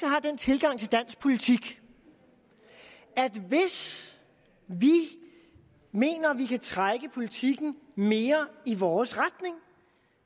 har den tilgang til dansk politik at hvis vi mener vi kan trække politikken mere i vores retning